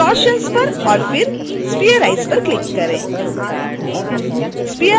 अब distortions पर और फिर spherize पर क्लिक करें